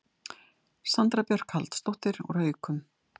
Sandra Björk Halldórsdóttir úr Haukum